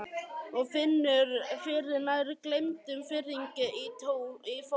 Og finnur fyrir nær gleymdum fiðringi í fótum.